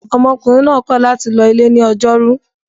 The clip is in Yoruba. Ọmọkùnrin náà kọ̀ láti lọ ilé ní ọjọ́rú.